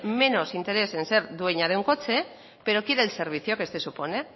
menos interés en ser dueña de un coche pero quiere el servicio que este supone